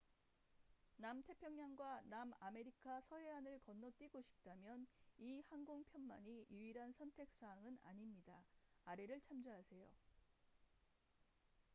남태평양과 남아메리카 서해안을 건너뛰고 싶다면 이 항공편만이 유일한 선택 사항은 아닙니다.아래를 참조하세요